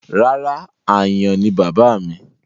Rárá, àyàn ni bàbáà mi.